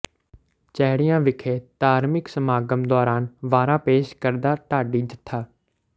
ਚੈੜੀਆਂ ਵਿਖੇ ਧਾਰਮਿਕ ਸਮਾਗਮ ਦੌਰਾਨ ਵਾਰਾਂ ਪੇਸ਼ ਕਰਦਾ ਢਾਡੀ ਜਥਾ